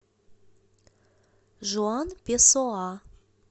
жуан песоа